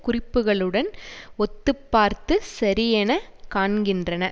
குறிப்புக்களுடன் ஒத்துப்பார்த்துச் சரியெனக் காண்கின்றன